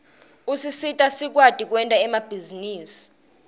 usisita sikwati kwenta emabhizinisi